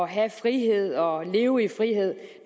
have frihed og leve i frihed